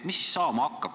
Mis siis saama hakkab?